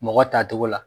Mɔgɔ ta cogo la